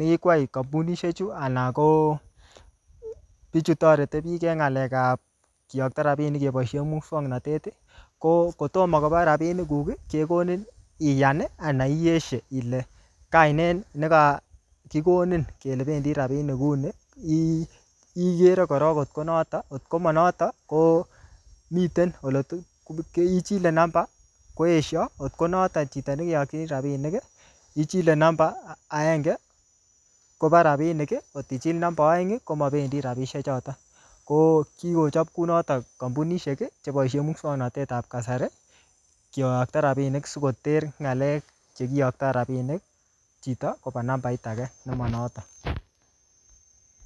nekikwai kampunishek chu, anan ko bichu toreti bich eng ng'alekap keyokto rabinik keboisie muswknotet, ko kotomo koba rabinik kuk, kekonin iyan, anan ieshe ile kainet nekakikonin kele bendi rabinik kuni,[um] ikere korok kotko notok. Kotko manotok, ko miten ole ichile namba koesho. Kotko notok chito nekeyokchi rabinik, ichile namba agenge, koba rabinik. Kot ichil namba aeng, komabendi rabisiek choton. Ko kikochop kunotok kampunishek, cheboisie muswoknotetab kasari, kiyotko rabinik sikoter ng'alek che kiyoktoi rabinik chito, koba nambait age nemanoton